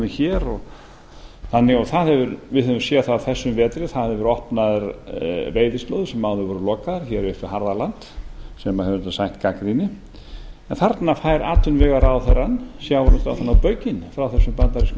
hér við höfum séð það á þessum vetri að það hafa verið opnaðar veiðislóðir sem áður voru lokaðar hér upp við harða land sem hefur auðvitað sætt gagnrýni þarna fær atvinnuvegaráðherrann sjávarútvegsráðherrann á baukinn frá þessum